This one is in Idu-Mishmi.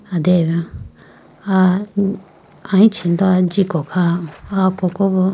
Adeyayi bo a aluchi do jiko kha aya koko bo.